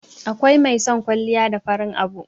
akwai mai son kwalliya da farin abu